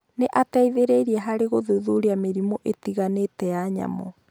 nĩ aateithĩrĩirie harĩ gũthuthuria mĩrimũ ĩtiganĩte ya nyamũ.